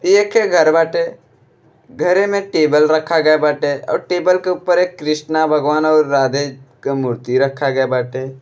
एखे घर बाटे। घरे में टेबल रखा गया बाटे और टेबल के ऊपर एक कृष्णा भगवान और राधे क मूर्ति रखा गया बाटे।